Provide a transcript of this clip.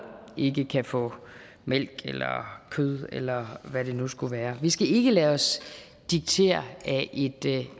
ikke kan få mælk kød eller hvad det nu skulle være vi skal ikke lade os diktere af et